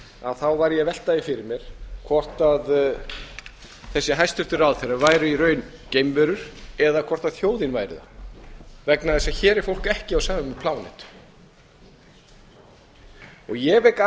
var ég að velta því fyrir mér hvort þessir hæstvirtir ráðherrar væru í raun geimverur eða hvort þjóðin væri það vegna þess að hér er fólk ekki á ég vek